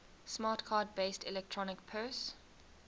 smart card based electronic purse